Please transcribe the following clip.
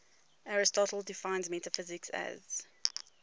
aristotle defines metaphysics as